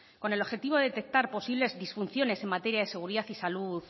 con el objetivo de detectar posibles disfunciones en materia de seguridad y salud